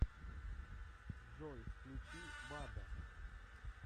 джой включи вада